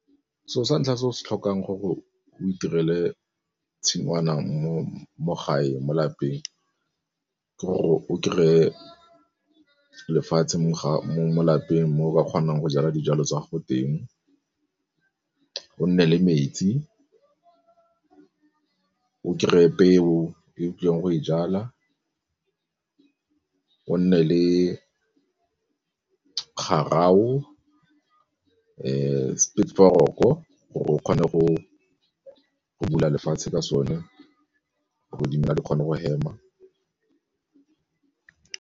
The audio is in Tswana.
Se'o sa ntlha se o se tlhokang gore o itirele tshingwana mo gae mo lapeng ke gore o kry-e lefatshe mo lapeng mo o ka kgonang go jala dijalo tsa gago teng, go nne le metsi o kry-e peo e o tlileng go e jala, o nne le gore o kgone go bula lefatshe ka sone ga di kgone go hema.